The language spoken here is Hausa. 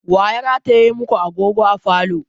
Wa ya rataye ma ku agogo a falo?